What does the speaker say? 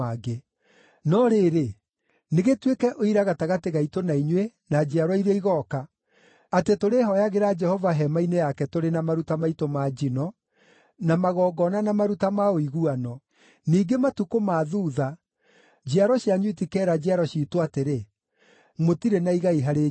No rĩrĩ, nĩ gĩtuĩke ũira gatagatĩ gaitũ na inyuĩ na njiarwa iria igooka, atĩ tũrĩhooyagĩra Jehova hema-inĩ yake tũrĩ na maruta maitũ ma njino, na magongona na maruta ma ũiguano. Ningĩ matukũ ma thuutha njiaro cianyu itikeera njiaro ciitũ atĩrĩ, ‘Mũtirĩ na igai harĩ Jehova.’